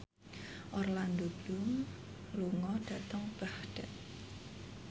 Orlando Bloom lunga dhateng Baghdad